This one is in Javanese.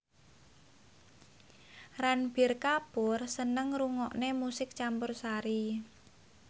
Ranbir Kapoor seneng ngrungokne musik campursari